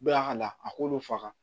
Bɛɛ ka na a k'olu faga